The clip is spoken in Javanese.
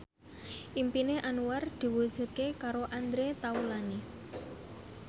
impine Anwar diwujudke karo Andre Taulany